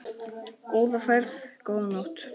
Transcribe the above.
Góða ferð, góða nótt.